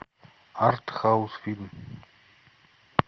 артхаус фильм